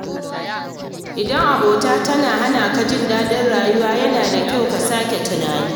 Idan abota tana hana ka jin daɗin rayuwa, yana da kyau ka sake tunani.